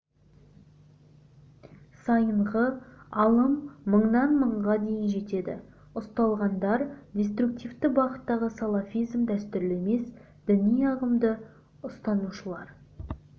сайынғы алым мыңнан мыңға дейін жетеді ұсталғандар деструктивті бағыттағы салафизм дәстүрлі емес діни ағымды ұстанушылар